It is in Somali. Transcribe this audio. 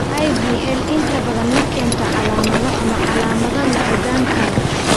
IVL inta badan ma keento calaamado ama calaamado la ogaan karo.